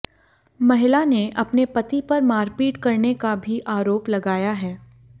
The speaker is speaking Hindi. महिला ने अपने पति पर मारपीट करने का भी आरोप लगाया है